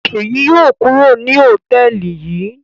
Ṣèyí yóò kúrò ní hòtẹ́ẹ́lì yìí